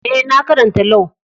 Eh, na karanta Lau.